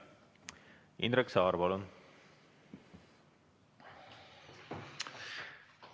Indrek Saar, palun!